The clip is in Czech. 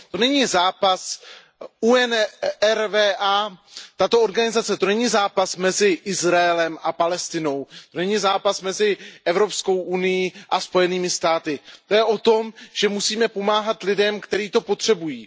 To není zápas UNRWA, této organizace, to není zápas mezi Izraelem a Palestinou, to není zápas mezi Evropskou unií a Spojenými státy, to je o tom, že musíme pomáhat lidem, kteří to potřebují.